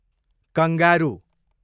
kangaroo